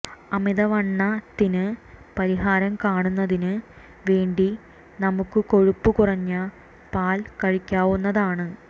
അമിതവണ്ണത്തിന് പരിഹാരം കാണുന്നതിന് വേണ്ടി നമുക്ക് കൊഴുപ്പ് കുറഞ്ഞ പാൽ കഴിക്കാവുന്നതാണ്